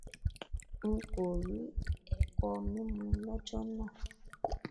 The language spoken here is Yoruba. n kò rí ẹkọmímu lọjọ náà